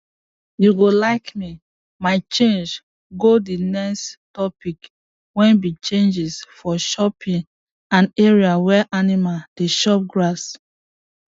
you go like me my change go the next topic wey be changes for chopping and area where animal dey chop grass